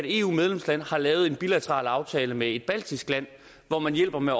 eu medlemsland har lavet en bilateral aftale med et baltisk land hvor man hjælper med